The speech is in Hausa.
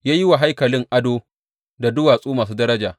Ya yi wa haikalin ado da duwatsu masu daraja.